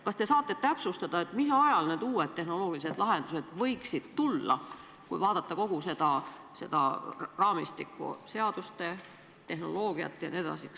Kas te saate täpsustada, mis ajal need uued tehnoloogilised lahendused võiksid tulla, kui vaadata kogu seda raamistikku, seadust, tehnoloogiat jne?